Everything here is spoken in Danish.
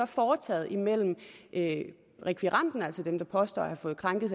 foretaget imellem rekvirenten altså den der påstår at have fået krænket